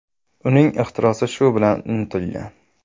Uning ixtirosi shu bilan unutilgan.